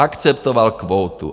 Aceptoval kvótu.